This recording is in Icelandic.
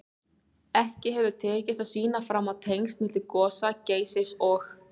Ekki hefur tekist að sýna fram á tengsl milli gosa Geysis og